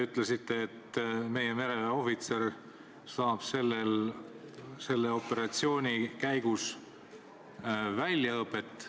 Te ütlesite, et meie mereväeohvitser saab selle operatsiooni käigus väljaõpet.